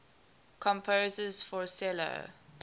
composers for cello